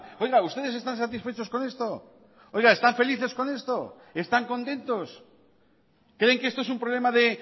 oiga ustedes están satisfechos con esto oiga están felices con esto están contentos creen que esto es un problema de